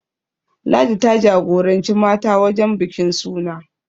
Ladi ta jagoranci mata wajen bikin suna